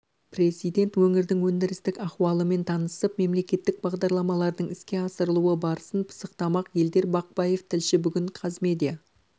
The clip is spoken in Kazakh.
президент өңірдің өндірістік ахуалымен танысып мемлекеттік бағдарламалардың іске асырылу барысын пысықтамақ елдар бақпаев тілші бүгін қазмедиа